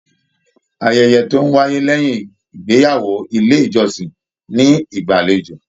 Ayẹyẹ tó n wáyé lẹyìn ìgbéyàwó ilé ìjọsìn ní ìgbàlèjo.